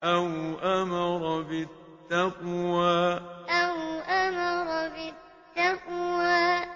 أَوْ أَمَرَ بِالتَّقْوَىٰ أَوْ أَمَرَ بِالتَّقْوَىٰ